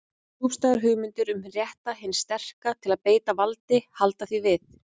Djúpstæðar hugmyndir um rétt hins sterka til að beita valdi halda því við.